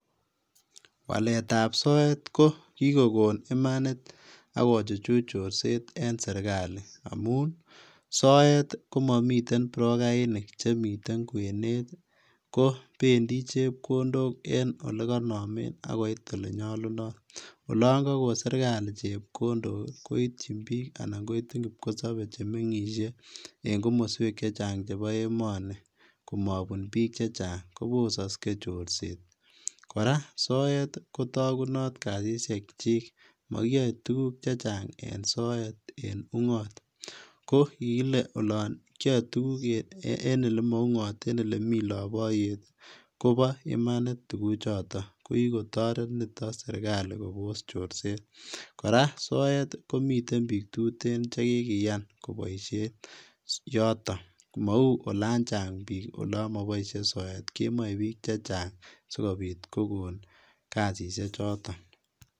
Waletab soet kokikokon imanit ak kochuchuch chorset en sirkali amun soet komomiten prokainik chemiten kwenet kopendi chepkondok en ole konome akoit olenyolunot, olon kogon sirkali chepkondok koityin bik anan ko kipkosobe chemengisie en komosweek chechang chebo emoni komobun bik chechang kobosoksee chorset, koraa soet kotokunot kasisiekyin mokiyoe tuguk chechang en soet en ungot, kokikile olon kiyoe en ole moungot en ole mi loboyet koboo imanit tukuchoton, kokikotoret niton sirkali kobos chorset, koraa soet komiten bik tuten chekikiyan koboisien yoton mou olan chang bik olon moboisie soet kemoe bik chechang sikobit kogon kasisichoton.